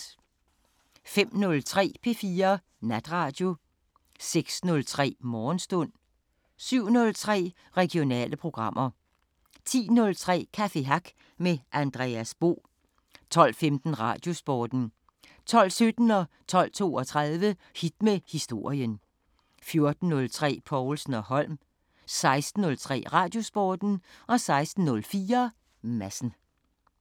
05:03: P4 Natradio 06:03: Morgenstund 07:03: Regionale programmer 10:03: Café Hack med Andreas Bo 12:15: Radiosporten 12:17: Hit med historien 12:32: Hit med historien 14:03: Povlsen & Holm 16:03: Radiosporten 16:04: Madsen